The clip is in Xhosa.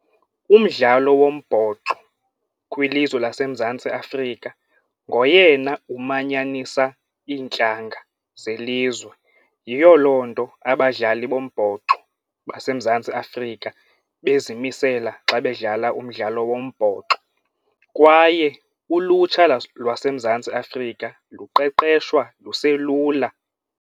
Umdlalo wombhoxo kwilizwe laseMzantsi Afrika ngoyena umanyanisa iintlanga zelizwe yiyo loo nto abadlali bombhoxo baseMzantsi Afrika bezimisela xa bedlala umdlalo wombhoxo kwaye ulutsha lwaseMzantsi Afrika luqeqeshwa luselula.